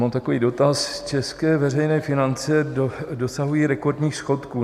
Mám takový dotaz - české veřejné finance dosahují rekordních schodků.